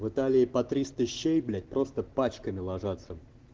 в италии по тристо щей блять просто пачками ложатся